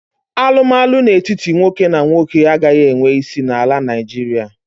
Alụmalụ n'etiti nwoke na nwoke agaghị enwe isi na ala Naijiria.